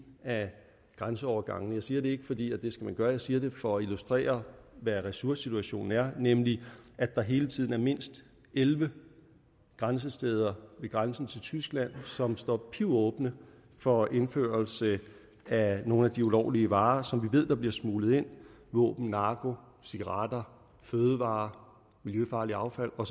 af grænseovergangene jeg siger det ikke fordi det skal gøre jeg siger det for at illustrere hvad ressourcesituationen er nemlig at der hele tiden er mindst elleve grænsesteder ved grænsen til tyskland som står pivåbne for indførelse af nogle af de ulovlige varer som vi ved der bliver smuglet ind våben narko cigaretter fødevarer miljøfarligt affald og